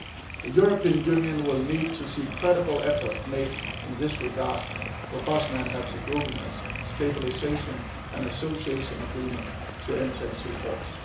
The European Union will need to see credible effort made in this regard for Bosnia and Herzegovina's Stabilisation and Association Agreement to enter into force.